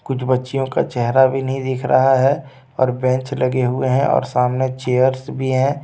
कुछ बच्चीयों का चेहरा भी नहीं दिख रहा है और बेंच लगे हुई हैं और सामने चेयर्स भी हैं.